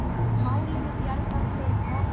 Málinu bjargað fyrir horn.